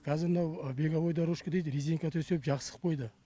қазір мынау беговой дорожка дейді резинка төсеп жақсы қып қойды